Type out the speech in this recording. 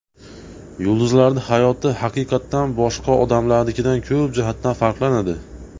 Yulduzlarning hayoti haqiqatdan boshqa odamlarnikidan ko‘p jihatdan farqlanadi.